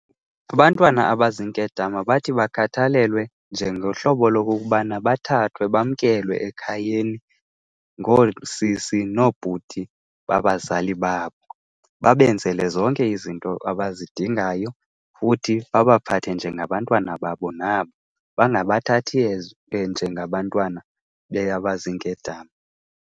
Abantwana abaziinkedama bathi bakhathalelwe njengohlobo lokokubana bathathwe bamkelwe ekhayeni, ngoosisi noobhuti babazali babo. Babebenzele zonke izinto abazidingayo futhi babaphathe njengabantwana babo nabo, bangabathathi njengabantwana abaziinkedama.